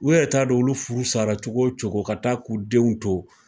U yɛrɛ t'a dɔn olu furu sala cogo cogo ka taa k'u denw to.